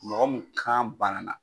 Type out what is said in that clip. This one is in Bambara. Mɔgɔ mun kan banana.